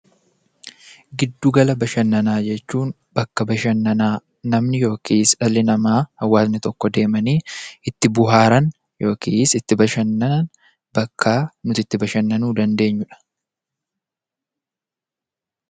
Giddu gala bashannanaa jechuun bakka bashannanaa namni yookiis dhalli namaa, hawaasni tokko deemanii itti bohaaran yookiis itti bashannanan bakka nuti itti bashannanuu dandeenyudha.